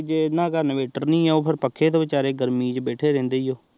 ਜਿਨਾ ਘਰ ਇੰਵੇਰਟਰ ਨੀ ਆਹ ਓਹ ਪੱਕੇ ਚ ਬੀਚਾਰੇ ਗਰਮੀ ਚ ਬੈਠੇ ਰਹੰਦੇ ਨੇ